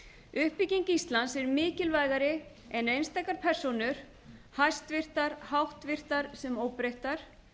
uppbygging íslands er mikilvægari en einstakar persónur hæstvirtar háttvirtar sem óbreyttar